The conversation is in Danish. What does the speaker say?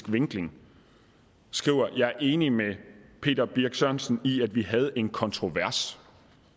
vinkling skriver jeg er helt enig med birch sørensen i at vi havde en kontrovers